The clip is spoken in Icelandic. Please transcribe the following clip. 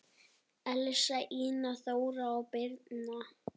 Elsa, Ína, Þóra og Birna.